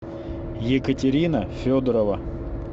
екатерина федорова